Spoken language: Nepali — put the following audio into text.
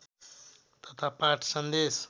तथा पाठ सन्देश